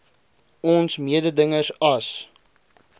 ons mededingers as